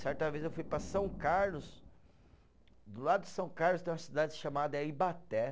Certa vez eu fui para São Carlos, do lado de São Carlos tem uma cidade chamada Ibaté.